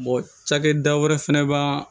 cakɛda wɛrɛ fɛnɛ b'an